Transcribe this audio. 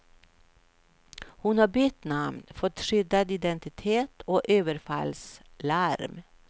Hon har bytt namn, fått skyddad identitet och överfallslarm.